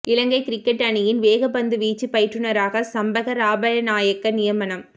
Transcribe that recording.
இலங்கைக் cricket அணியின் வேகப்பந்து வீச்சுப் பயிற்றுநராக சம்பக ராமநாயக்க நியமனம்